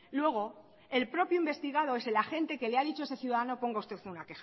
luego el propio investigado es el agente que le ha dicho a ese ciudadano ponga usted una